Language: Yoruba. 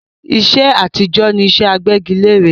iṣẹ́ àtijọ́ ni iṣẹ́ agbẹ́gilẹ́re